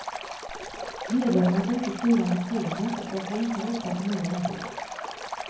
Medlemmarna får inte skriva motioner och de får inte rösta på nya ombud.